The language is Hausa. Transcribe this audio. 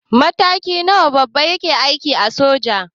Mataki na nawa baban ki yake a aikin soja?